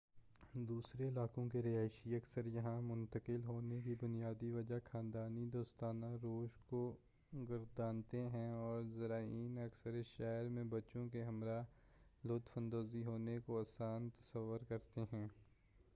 دوسرے علاقوں کے رہائشی اکثر یہاں منتقل ہونے کی بنیادی وجہ خاندانی دوستانہ روش کو گردانتے ہیں اور زائرین اکثر اس شہر میں بچوں کے ہمراہ لطف اندوز ہونے کو آسان تصور کرتے ہیں